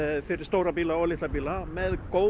fyrir stóra bíla og litla bíla með góðu